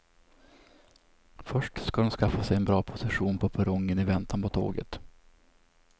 Först ska de skaffa sig en bra position på perrongen i väntan på tåget.